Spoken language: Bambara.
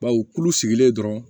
Baw kulu sigilen dɔrɔn